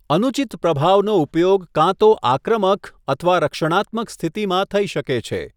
અનુચિત પ્રભાવનો ઉપયોગ કાં તો આક્રમક અથવા રક્ષણાત્મક સ્થિતિમાં થઈ શકે છે.